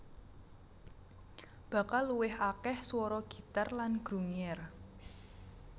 Bakal luwih akeh swara gitar lan grungier